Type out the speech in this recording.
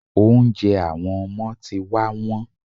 Oúnjẹ àwọn ọmọ ti wá wón.